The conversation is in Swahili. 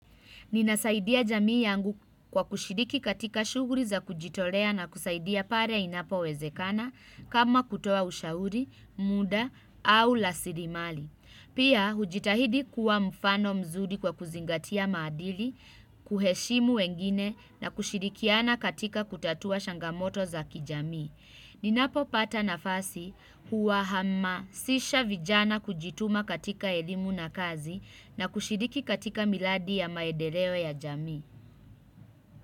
Ninasaidia jamii yangu kwa kushiriki katika shughuli za kujitolea na kusaidia pale inapowezekana kama kutoa ushauri, muda au rasilimali. Pia, hujitahidi kuwa mfano mzuri kwa kuzingatia maadili, kuheshimu wengine na kushirikiana katika kutatua changamoto za kijamii. Ninapopata nafasi huwahamasisha vijana kujituma katika elimu na kazi na kushiriki katika miradi ya maendeleo ya jamii.